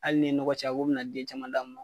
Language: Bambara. Ali n'i ye nɔgɔ caya k'o bɛna den caman d'a ma.